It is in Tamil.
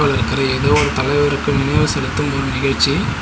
இருக்குற எதோ ஒரு தலைவர்க்கு நினைவு செலுத்தும் ஒரு நிகழ்ச்சி.